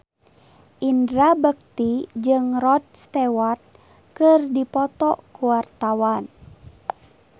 Indra Bekti jeung Rod Stewart keur dipoto ku wartawan